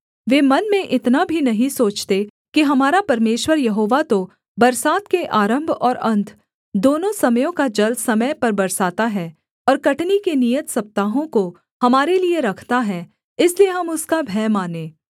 वे मन में इतना भी नहीं सोचते कि हमारा परमेश्वर यहोवा तो बरसात के आरम्भ और अन्त दोनों समयों का जल समय पर बरसाता है और कटनी के नियत सप्ताहों को हमारे लिये रखता है इसलिए हम उसका भय मानें